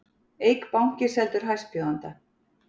Eik banki seldur hæstbjóðanda